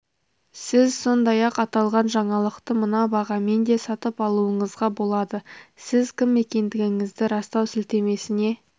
сіз сондай-ақ аталған жаңалықты мына бағамен де сатып алуыңызға болады сіз кім екендігіңізді растау сілтемесіне